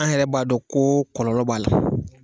An yɛrɛ b'a dɔn ko kɔlɔlɔ b'a la